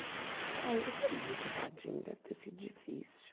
Acho que para ele também, coitadinho, deve ter sido difícil.